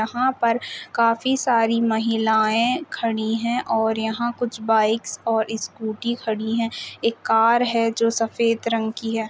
यहाँ पर काफी सारी महिलाएं खड़ी हैं और यहा कुछ बाईक्स और स्कूटी खड़ी हैं एक कार है जो सफ़ेद रंग की है।